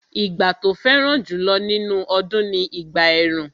Ìgbà tó fẹ́ràn jùlọ nínú ọdún ni ìgbà ẹ̀rùn